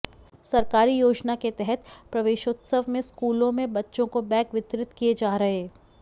सरकारी योजना के तहत प्रवेशोत्सव में स्कूलों में बच्चों को बैग वितरित किए जा रहे